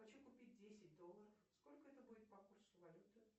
хочу купить десять долларов сколько это будет по курсу валюты